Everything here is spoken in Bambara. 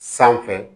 Sanfɛ